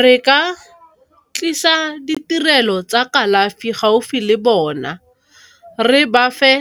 Re ka tlisa ditirelo tsa kalafi gaufi le bona, re bafe